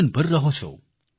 જીવનભર રહો છો